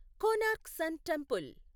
Konark sun temple